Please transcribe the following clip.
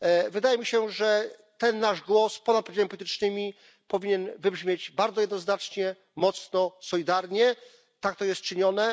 Wydaje mi się, że ten nasz głos ponad podziałami politycznymi powinien zabrzmieć bardzo jednoznacznie, mocno, solidarnie, tak to jest czynione.